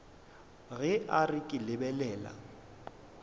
ge a re ke lebelela